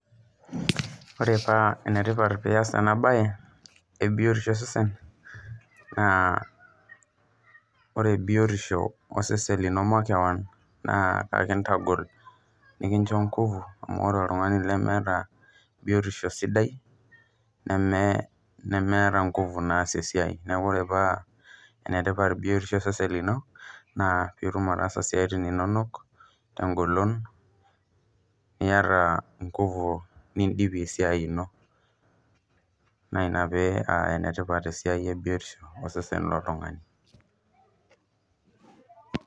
Ore paa enetipat pias enabae ebiotisho osesen, naa ore biotisho osesen lino makeon, naa ekintagol nikincho ngufu, amu ore oltung'ani lemeeta biotisho sidai, nemeeta ngufu naasie esiai. Neeku ore pa enetipat biotisho osesen lino, naa pitum ataasa isiaitin inonok, tegolon niata ingufu nidipie esiai ino. Na ina pee enetipat esiai ebiotisho osesen loltung'ani.